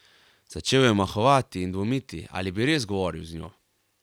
Začel je omahovati in dvomiti, ali bi res govoril z njo.